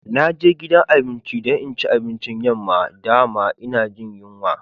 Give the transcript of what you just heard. Na je gidan abinci dan in ci abincin yamma, da'ma ina Jin yunwa.